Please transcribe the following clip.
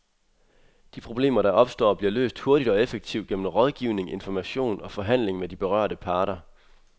De problemer, der opstår, bliver løst hurtigt og effektivt gennem rådgivning, information og forhandling med de berørte parter.